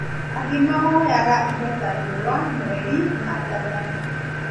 Angĩ mahoyaga indo ta riũa, mweri na njata